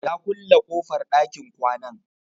Ya ƙulle kofar ɗakin kwanan.